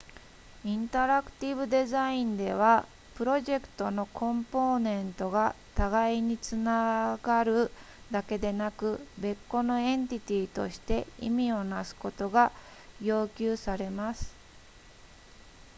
インタラクティブデザインではプロジェクトのコンポーネントが互いにつながるだけでなく別個のエンティティとして意味をなすことが要求されます